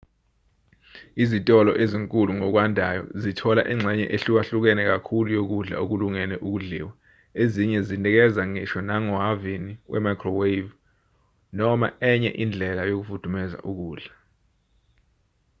izitolo ezinkulu ngokwandayo zithola ingxenye ehlukahlukene kakhulu yokudla okulungele ukudliwa ezinye zinikeza ngisho nangohhavini we-microwave noma enye indlela yokufudumeza ukudla